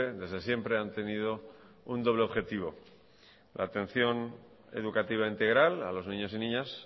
desde siempre han tenido un doble objetivo la atención educativa integral a los niños y niñas